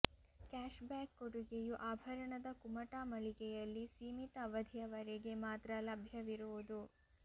cash back ಕೊಡುಗೆಯು ಆಭರಣದ ಕುಮಟಾ ಮಳಿಗೆಯಲ್ಲಿ ಸೀಮಿತ ಅವಧಿಯವರೆಗೆ ಮಾತ್ರ ಲಭ್ಯವಿರುವುದು